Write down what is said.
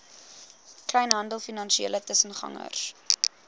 kleinhandel finansiële tussengangers